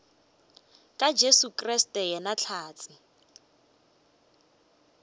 ka jesu kriste yena hlatse